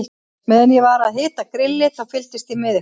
Meðan ég var að hita grillið, þá fylgdist ég með ykkur.